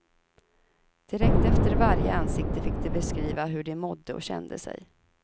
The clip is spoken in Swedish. Direkt efter varje ansikte fick de beskriva hur de mådde och kände sig.